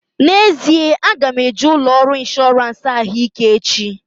N'ezie, aga m eje ụlọ ọrụ ịnshọransị ahụike echi